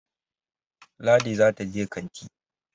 Ladi za ta je kanti